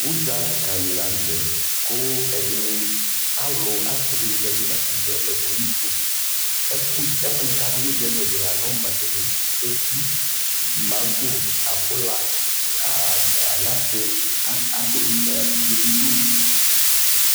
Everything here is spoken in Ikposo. ʋdza ka li lantɛ kʋ ɛdini, alʋ asii dini zati nʋatami ɛkʋ yi tʋ, ɛkʋ wani ɛdinikʋadʋnʋʋdzali la lɛ makani ɛdi, mango, abʋla ,anasɛ kʋ abidzɔ bi dʋ